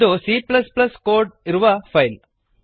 ಇದು cಕೋಡ್ ಇರುವ ಫೈಲ್